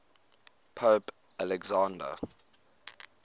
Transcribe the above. pope alexander